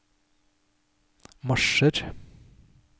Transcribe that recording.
marsjer